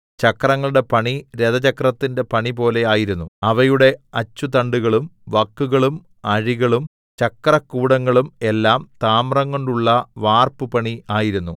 ചക്രങ്ങളുടെ പണി രഥചക്രത്തിന്റെ പണിപോലെ ആയിരുന്നു അവയുടെ അച്ചുതണ്ടുകളും വക്കുകളും അഴികളും ചക്രകൂടങ്ങളും എല്ലാം താമ്രംകൊണ്ടുള്ള വാർപ്പു പണി ആയിരുന്നു